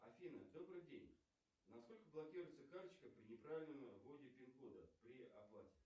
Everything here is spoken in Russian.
афина добрый день на сколько блокируется карточка при не правильном вводе пин кода при оплате